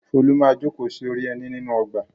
Folú máa jókòó sí orí ẹní nínú ọgbà.